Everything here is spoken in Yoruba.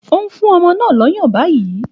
Ó ń fún ọmọ náà lọ́yàn báyìí